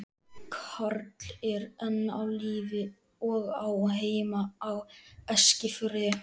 Karl er enn á lífi og á heima á Eskifirði.